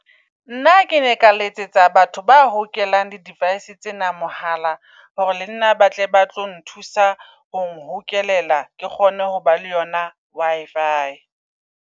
Nna ke ne ka letsetsa batho ba hokelang di -device tsena mohala. Hore lenna ba tle ba tlo nthusa ho hokelela ke kgone ho ba le yona Wi-fi.